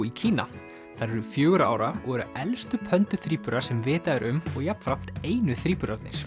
í Kína þær eru fjögurra ára og eru elstu pönduþríburar sem vitað er um og jafnframt einu